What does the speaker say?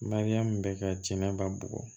Mariyamu bɛ ka jɛnɛba bugɔ